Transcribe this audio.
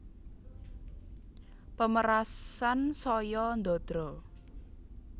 Pemerasan saya ndadra